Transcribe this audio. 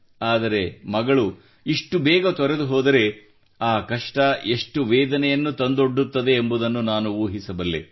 ಆದರೆ ಮಗಳು ಇಷ್ಟು ಬೇಗ ತೊರೆದು ಹೋದರೆ ಆ ಕಷ್ಟ ಎಷ್ಟು ವೇದನೆಯನ್ನು ತಂದು ಕೊಡುತ್ತದೆ ಎಂಬುದನ್ನು ನಾನು ಊಹಿಸಬಲ್ಲೆ